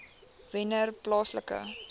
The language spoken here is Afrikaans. wennerplaaslike